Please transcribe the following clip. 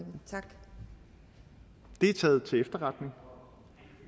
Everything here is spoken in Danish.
er taget til efterretning